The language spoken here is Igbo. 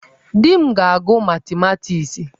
Di m ga-agụ matimatiksi.